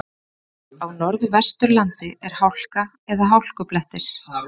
Á Norðvesturlandi er hálka eða hálkublettir